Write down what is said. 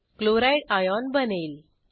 Chlorideसीएल आयन बनेल